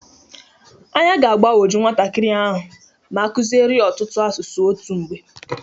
Anya ga-agbanwoju nwatakịrị a ma akụzịrị ya ọtụtụ asụsụ otu mgbe